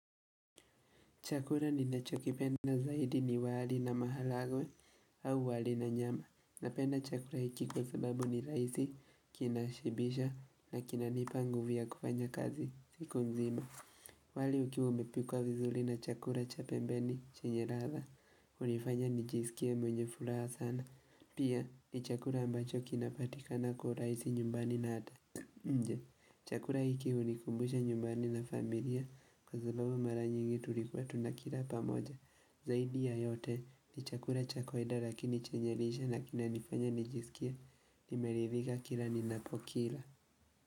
Chakuka ninachokipenda zaidi ni wali na maharagwe au wali na nyama. Napenda chakuka hiki kwa sababu ni rahisi kinashibisha na kinanipa nguvu ya kufanya kazi siku mzima. Wali ukiwa umepikwa vizuri na chakula cha pembeni chenye ladha. Hunifanya nijisikie mwenye furaha sana. Pia ni chakula ambacho kinapatika na kwa urahisi nyumbani na hata nje. Chakula hiki hunikumbusha nyumbani na familia kwa sababu mara nyingi tulikuwa tunakila pamoja Zaidi ya yote ni chakula cha kawaida lakini chenye lishe na kinanifanya nijisikie nimeridhika kila ninapokila.